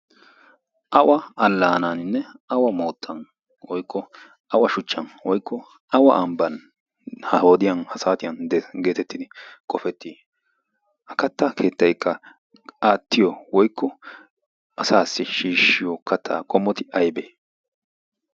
awa allaanaaninne awa moottan woykko awa shuchchan woykko awa ambban ha hoodiyan ha saatiyan geetettidi qofettii ha katta keettaikka aattiyo woikko asaassi shiishshiyo kattaa qommoti aybee?